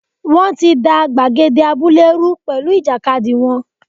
Wọ́n ti da gbàgede abúlé rú pẹ̀lú ìjàkadì wọn.